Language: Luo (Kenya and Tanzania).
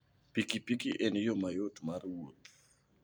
piki piki en yo mayot mar wuoth.